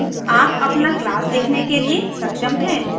अब आप अपना क्लास लिखने के लिए सक्षम हैं